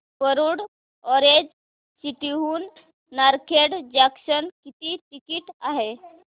Warud orange city हून Narkhed junction किती ticket आहे